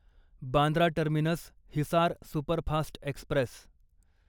Bandra terminus Hisar superfast Express